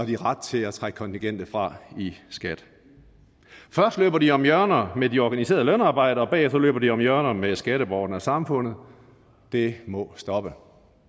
de ret til at trække kontingentet fra i skat først løber de om hjørner med de organiserede lønarbejdere og bagefter løber de om hjørner med skatteborgerne og samfundet det må stoppe